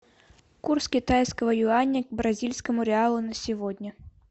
курс китайского юаня к бразильскому реалу на сегодня